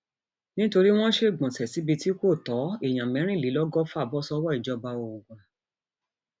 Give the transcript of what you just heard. nítorí wọn ṣègbọnṣe síbi tí kò tó èèyàn mẹrìnlélọgọfà bọ sọwọ ìjọba ogun